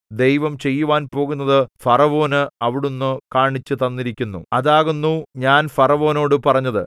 ദൈവം ചെയ്യുവാൻ പോകുന്നത് ഫറവോന് അവിടുന്ന് കാണിച്ചുതന്നിരിക്കുന്നു അതാകുന്നു ഞാൻ ഫറവോനോട് പറഞ്ഞത്